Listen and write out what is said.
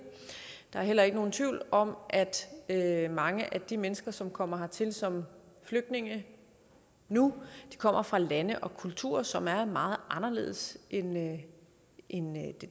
der er heller ikke nogen tvivl om at mange af de mennesker som kommer hertil som flygtninge nu kommer fra lande og kulturer som er meget anderledes end